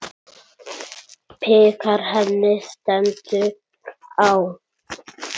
Bikar henni stendur á.